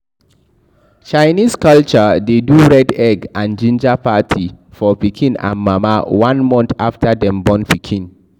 Chinese culture de do red egg and ginger party for pikin and mama one month after dem born pikin